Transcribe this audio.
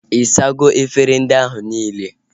Ị sago efere ndị ahụ nile?